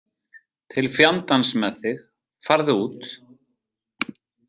Til fjandans með þig, farðu út!